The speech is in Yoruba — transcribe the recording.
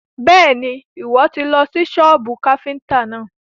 Bẹ́ẹ̀ni, Ìwọ́ tì lọ sí sọ́bù káfíntà náà.